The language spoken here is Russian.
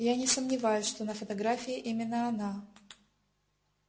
я не сомневаюсь что на фотографии именно она